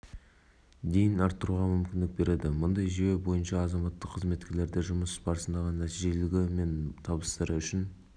жылы азаматтық қызметкерлерге еңбекақы төлеудің жаңа жүйесі енгізілді бұл орман және жануарлар дүниесі шаруашылықтары жұмысшыларының жалақыларын